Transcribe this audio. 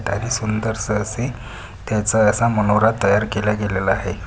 सुंदरस असे त्याचा मनोहरा तयार केला गेलेला आहे.